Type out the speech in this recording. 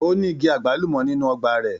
Ó ní igi àgbálùmọ́ nínú ọgbà rẹ̀.